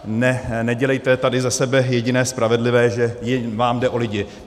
Nedělejte tady ze sebe jediné spravedlivé, že vám jde o lidi.